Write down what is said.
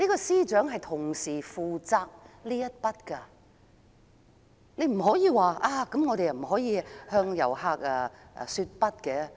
司長同時負責這方面的工作，他說不可以向遊客說"不"。